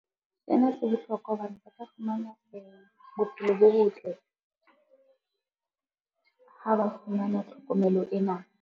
Sena se bohlokwa hobane ba ka fumana bophelo bo botle, ha ba fumana tlhokomelo ena.